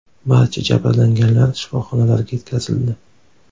Barcha jabrlanganlar shifoxonalarga yetkazildi.